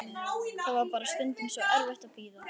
Það var bara stundum svo erfitt að bíða.